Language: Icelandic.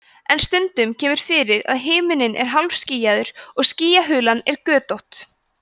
en stundum kemur fyrir að himinninn er hálfskýjaður og skýjahulan er götótt